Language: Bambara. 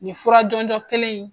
Nin fura jɔnjɔ kelen in